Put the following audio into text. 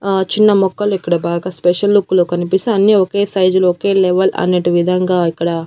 ఆ చిన్న మొక్కలు ఇక్కడ బాగా స్పెషల్ లుక్కులో కనిపిస్తే అన్ని ఒకే సైజులో ఒకే లెవెల్ అనేటి విధంగా ఇక్కడ.